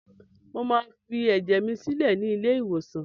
Mo máa fi ẹ̀jẹ̀ mi sílẹ̀ ni ilé-ìwòsàn.